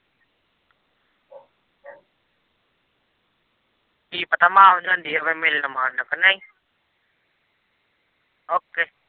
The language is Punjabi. ਕੀ ਪਤਾ ਮਾਂ ਵੀ ਜਾਂਦੀ ਹੋਵੇ ਮਿਲਣ ਮੰਨ ਸਕਣੇ ਕੀ ਨਹੀ। ok